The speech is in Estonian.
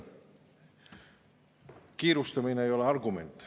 Kiirustamine ei ole argument.